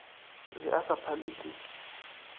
be a sa phalwe ke